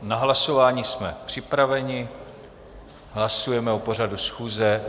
Na hlasování jsme připraveni, hlasujeme o pořadu schůze.